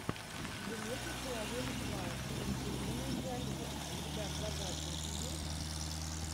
железный человек два с анджелиной джоли у тебя в загашнике есть